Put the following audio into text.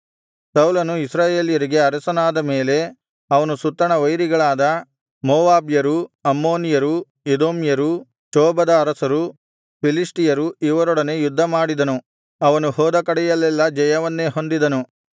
ಸೌಲನು ಇಸ್ರಾಯೇಲ್ಯರಿಗೆ ಅರಸನಾದ ಮೇಲೆ ಅವನು ಸುತ್ತಣ ವೈರಿಗಳಾದ ಮೋವಾಬ್ಯರು ಅಮ್ಮೋನಿಯರು ಎದೋಮ್ಯರು ಚೋಬದ ಅರಸರು ಫಿಲಿಷ್ಟಿಯರು ಇವರೊಡನೆ ಯುದ್ಧಮಾಡಿದನು ಅವನು ಹೋದ ಕಡೆಯಲ್ಲೆಲ್ಲಾ ಜಯವನ್ನೇ ಹೊಂದಿದನು